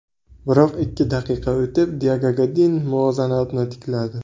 Biroq ikki daqiqa o‘tib Diyego Godin muvozanatni tikladi.